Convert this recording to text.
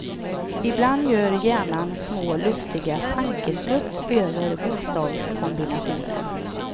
Ibland gör hjärnan små lustiga tankeskutt över bokstavskombinationen.